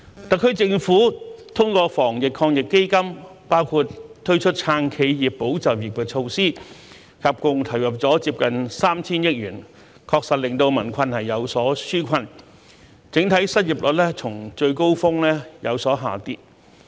特區政府通過防疫抗疫基金，包括推出"撐企業、保就業"的措施，合共投入接近 3,000 億元，確實令民困有所紓解，整體失業率較最高峰時有所下跌。